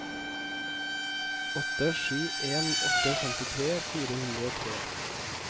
åtte sju en åtte femtitre fire hundre og tre